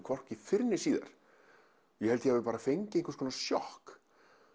hvorki fyrr né síðar